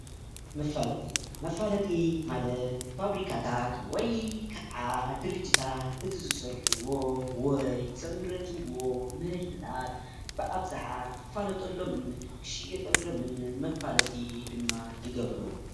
መፋለጢ :‑ መፋለጢ ማለት ፋብሪካታት ወይከዓ ድርጅታት እቲ ዝሰርሕዎ ወይ ዘምረትዎ ምህርትታት ብኣብዝሓ ክፋለጠሎምን ክሽወጠሎምን መፋለጢ ድማ ይገብሮ ።